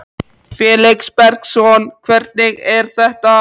Felix Bergsson: Hvernig er þetta?